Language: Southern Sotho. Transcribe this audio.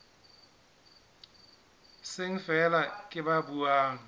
seng feela ke ba buang